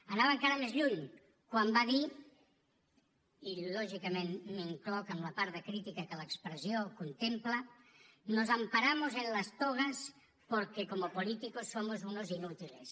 anava encara més lluny quan va dir i lògicament m’incloc en la part de crítica que l’expressió contempla nos amparamos en las togas porque como políticos somos unos inútiles